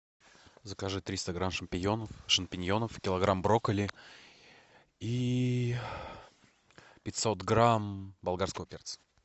закажи триста грамм шампиньонов килограмм брокколи и пятьсот грамм болгарского перца